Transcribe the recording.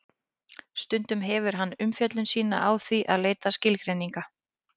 stundum hefur hann umfjöllun sína á því að leita skilgreininga